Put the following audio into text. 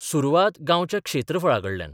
सुरवात गांवच्या क्षेत्रफळाकडल्यान.